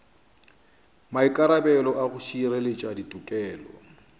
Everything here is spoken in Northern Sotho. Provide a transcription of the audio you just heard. maikarabelo a go šireletša tikologo